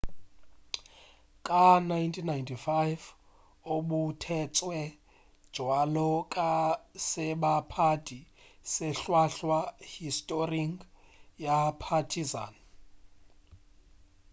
ka 1995 o boutetšwe bjalo ka sebapadi se hlwahlwa historing ya partizan